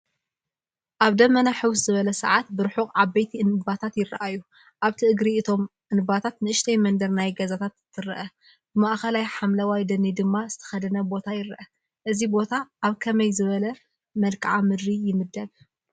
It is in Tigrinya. ኣብ ደመና ሕውስ ዝበሎ ሰዓት ብርሑቕ ዓበይቲ እንባታት ይራኣዩ፡፡ ኣብቲ እቲ እግሪ እቶም እንባታት ንእሽተይ መንደር ናይ ገዛታት ትረአ፡፡ ብማእኸላይ ሓምለዋይ ደኒ ድማ ዝተኸደነ ቦታ ይረአ፡፡ እዚ ቦታ ኣብ ከመይ ዝበለ መልክዓ ምድሪ ይምደብ?